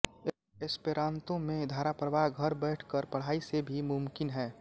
Esperanto में धाराप्रवाह घर बैठ कर पढ़ाई से भी मुमकिन है